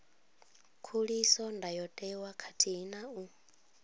khuliso ndayotewa khathihi na u